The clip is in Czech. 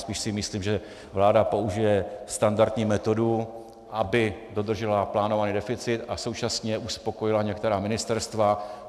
Spíš si myslím, že vláda použije standardní metody, aby dodržela plánovaný deficit a současně uspokojila některá ministerstva.